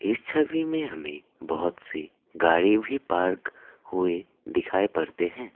इस छवि में हमें बहोत सी गाड़ी भी पार्क हुए दिखाई पड़ते हैं।